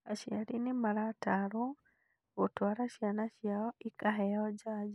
Acriari nĩmaratarwo gũtwara ciana ciao ikaheo njajo